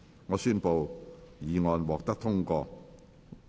我宣布議案獲得通過。